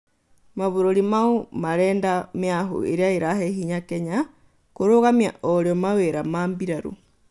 Mabũrũri maũ marenda mĩahũ ĩrĩa ĩrahe hinya Kenya "kũrũgamia orio mawĩra ma mbĩrarũ